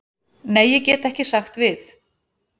Nei, ég get ekki sagt við.